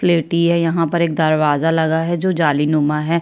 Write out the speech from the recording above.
स्लेटी है यहाँं पर एक दरवाजा लगा है जो जाली नुमा है।